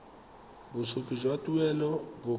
bosupi jwa tuelo bo ka